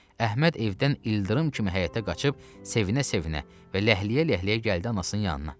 Əhməd evdən ildırım kimi həyətə qaçıb, sevinə-sevinə və ləhləyə-ləhləyə gəldi anasının yanına.